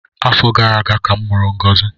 Afọ gara aga ka a mụrụ ngozi